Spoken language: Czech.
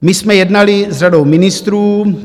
My jsme jednali s řadou ministrů.